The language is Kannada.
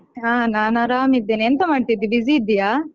ಹಾ ನಾನ್ ಆರಾಮಿದ್ದೇನೆ. ಎಂತ ಮಾಡ್ತಿದ್ದಿ busy ಇದ್ದಿಯಾ?